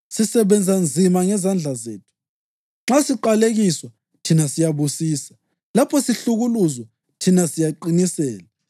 Sisebenza nzima ngezandla zethu. Nxa siqalekiswa, thina siyabusisa; lapho sihlukuluzwa, thina siyaqinisela;